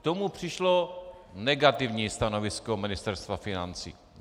K tomu přišlo negativní stanovisko Ministerstva financí.